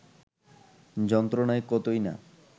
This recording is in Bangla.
যন্ত্রণায় কতই না